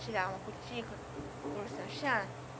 tirar uma cutícula, falou, Sebastiana